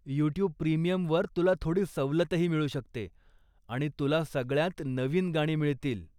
YouTube प्रीमियमवर तुला थोडी सवलतही मिळू शकते आणि तुला सगळ्यांत नवी गाणी मिळतील.